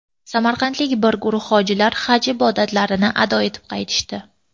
Samarqandlik bir guruh hojilar Haj ibodatlarini ado etib qaytishdi.